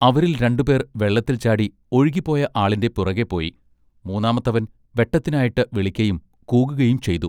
അവരിൽ രണ്ടുപേർ വെള്ളത്തിൽ ചാടി ഒഴുകിപോയ ആളിന്റെ പുറകെ പോയി മൂന്നാമത്തവൻ വെട്ടത്തിന്നായിട്ട് വിളിക്കയും കൂകുകയും ചെയ്തു.